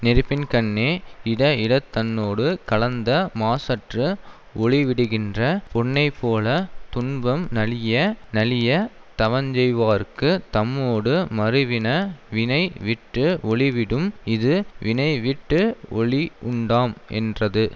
நெருப்பின்கண்ணே இட இடத் தன்னோடு கலந்த மாசற்று ஒளிவிடுகின்ற பொன்னைப்போலத் துன்பம் நலிய நலியத் தவஞ்செய்வோ ர்க்குத் தம்மோடு மருவின வினை விட்டு ஒளிவிடும் இது வினைவிட்டு ஒளி உண்டாம் என்றது